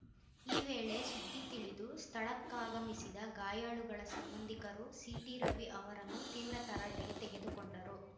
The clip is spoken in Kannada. ಈ ವೇಳೆ ಸುದ್ದಿ ತಿಳಿದು ಸ್ಥಳಕ್ಕಾಗಮಿಸಿದ ಗಾಯಾಳುಗಳ ಸಂಬಂಧಿಕರು ಸಿಟಿರವಿ ಅವರನ್ನು ತೀವ್ರ ತರಾಟೆಗೆ ತೆಗೆದುಕೊಂಡರು